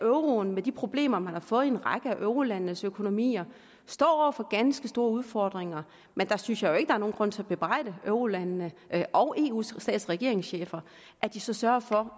at euroen med de problemer man har fået i en række af eurolandenes økonomier står over for ganske store udfordringer men jeg synes jo ikke er nogen grund til at bebrejde eurolandene og eus stats og regeringschefer at de så sørger for